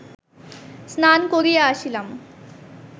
স্নান করিয়া আসিলাম